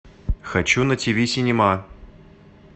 хочу на ти ви синема